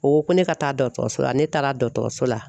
O ko ko ne ka taa dɔkɔtɔrɔso la , ne taara dɔgɔtɔrɔso la.